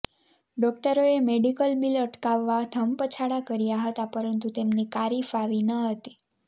ડોક્ટરોએ medical bill અટકાવવા ધમપછાડા કર્યા હતા પરંતુ તેમની કારી ફાવી ન હતી